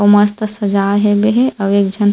अउ मस्त सजाए हेबे हे अउ एक झन --